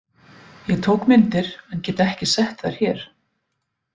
Ég tók myndir en get ekki sett þær hér.